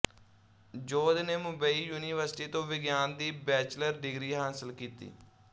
ਯੋਧ ਨੇ ਮੁੰਬਈ ਯੂਨੀਵਰਸਿਟੀ ਤੋਂ ਵਿਗਿਆਨ ਦੀ ਬੈਚਲਰ ਡਿਗਰੀ ਹਾਸਿਲ ਕੀਤੀ